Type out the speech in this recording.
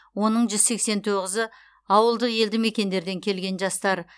оның жүз сексен тоғызы ауылдық елді мекендерден келген жастар